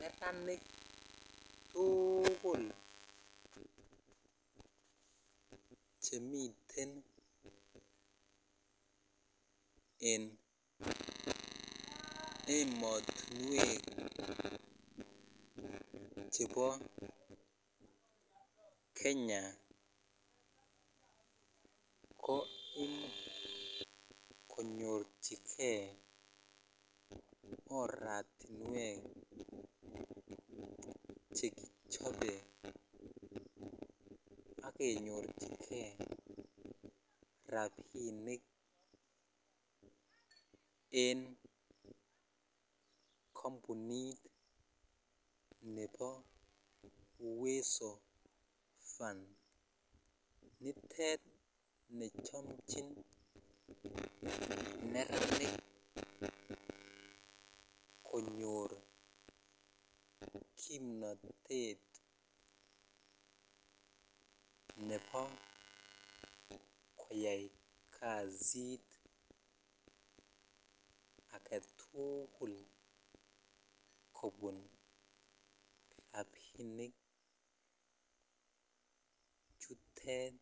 Nersnik tukul chemiten en ematuwek chebo Kenya ko imuch konyochikei oretiwek che kichobe ak kenyorchikei rabinik en kampunit nebo uweso fund [cs[nitet nechomchin beranik konyor kimnotet nebo koyai kasit agetukul kobun rabinik chuttet